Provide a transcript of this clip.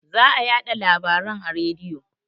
Za a yaɗa larabaren a rediyo